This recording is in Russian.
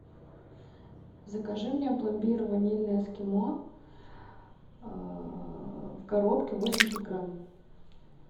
закажи мне пломбир ванильное эскимо в коробке восемьдесят грамм